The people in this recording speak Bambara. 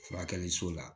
Furakɛli so la